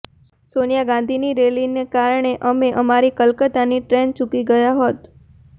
સોનિયા ગાંધીની રૅલીને કારણે અમે અમારી કલકત્તાની ટ્રેન ચૂકી ગયાં હોત